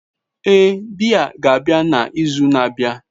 Ee, biya ga-abịa na izu na-abịa